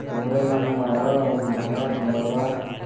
तोहरो मन ह आवा अऊ अहवा नहावा धोवा।